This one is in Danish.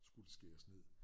Skulle skæres ned